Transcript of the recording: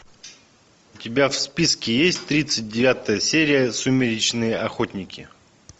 у тебя в списке есть тридцать девятая серия сумеречные охотники